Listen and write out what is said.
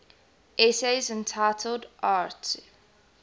essays entitled arte